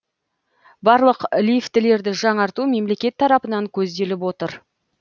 барлық лифтілерді жаңарту мемлекет тарапынан көзделіп отыр